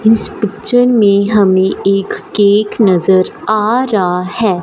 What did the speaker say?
इस पिक्चर में हमें एक केक नजर आ रहा है।